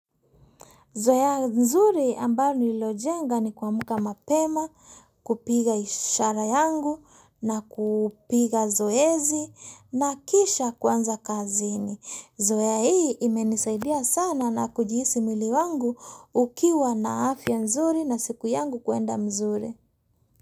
Zoea nzuri ambayo nililojenga ni kuamka mapema, kupiga ishara yangu na kupiga zoezi na kisha kwanza kazini. Zoea hii imenisaidia sana na kujihisi mwili wangu ukiwa na afya nzuri na siku yangu kuenda mzuri.